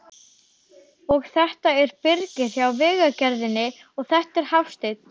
Og þetta er Birgir hjá Vegagerðinni, og þetta er Hafsteinn.